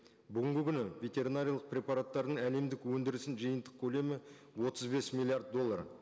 бүгінгі күні ветеринариялық препараттардың әлемдік өндірісінің жиынтық көлемі отыз бес миллиард доллар